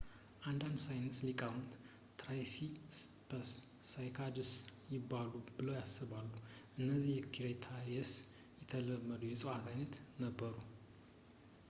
አንዳንድ የሳይንስ ሊቃውንት ትራይሲተስፕስ ሳይካድስን ይበላሉ ብለው ያስባሉ እነዚህ በክሬታሺየስ የተለመዱ የእጽዋት ዓይነት ነበሩ